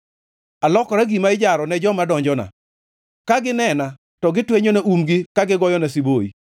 Alokora gima ijaro ne joma donjona; ka ginena to gitwenyona umgi ka gigoyona siboi.